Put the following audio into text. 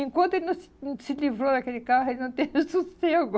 Enquanto ele não se hum se livrou daquele carro, ele não teve sossego.